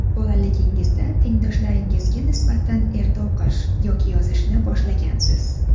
Bolaligingizda tengdoshlaringizga nisbatan erta o‘qish yoki yozishni boshlagansiz.